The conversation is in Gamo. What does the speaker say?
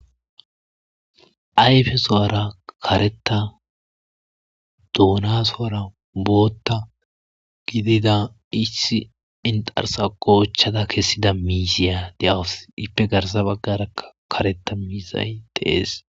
ayfesuwara karetta doonaso'ara bootta gididda issi inxarssa goochchada kessida miiziya de'awus ippe garsa baggarakka karetta miizay dees